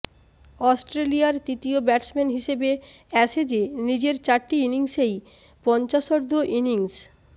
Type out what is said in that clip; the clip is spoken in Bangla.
অস্ট্রেলিয়ার তৃতীয় ব্যাটসম্যান হিসেবে অ্যাশেজে নিজের চারটি ইনিংসেই পঞ্চাশোর্ধ্ব ইনিংস